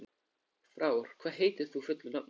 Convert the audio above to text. Frár, hvað heitir þú fullu nafni?